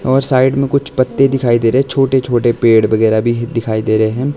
और साइड मे कुछ पत्ते दिखाई दे रहे है छोटे छोटे पेड़ बगैरा भी ही दिखाई दे रहे हैं।